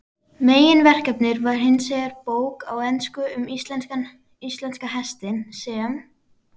Meginverkefnið var hinsvegar bók á ensku um íslenska hestinn, sem